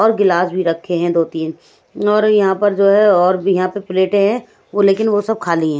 और गिलास भी रखे हैं दो-तीन और यहां पर जो है और भी यहां पर प्लेटें हैं वो लेकिन वो सब खाली हैं।